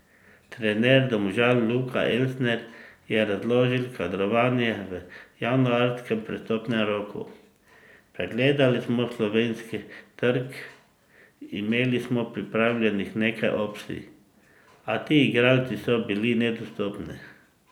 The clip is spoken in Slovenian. Trener Domžal Luka Elsner je razložil kadrovanje v januarskem prestopnem roku: 'Pregledali smo slovenski trg, imeli smo pripravljenih nekaj opcij, a ti igralci so bili nedostopni.